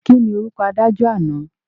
Kíni orúkọ adájọ́ àná?